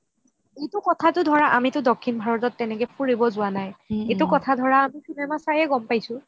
এইটো কথাটো ধৰা আমিটো দক্ষিণ ভাৰতত টো তেনেকে ফুৰিব যোৱা নাই